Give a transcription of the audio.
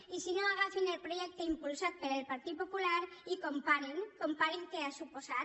i si no agafin el projecte impulsat pel partit popular i comparin comparin què ha suposat